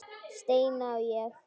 Steina og ég.